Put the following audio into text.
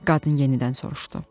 Qadın yenidən soruşdu.